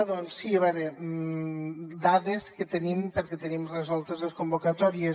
doncs sí a veure dades que tenim perquè tenim resoltes les convocatòries